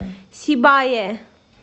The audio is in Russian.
сибае